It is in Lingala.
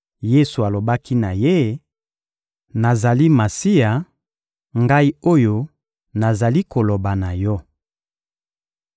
Yesu alobaki na ye: — Nazali Masiya, Ngai oyo nazali koloba na yo.